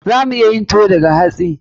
Za mu iya yin tuwo daga hatsi.